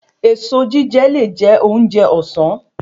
Èso jíjẹ le je ounjẹ òsán